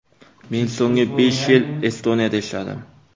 Men so‘nggi besh yil Estoniyada ishladim.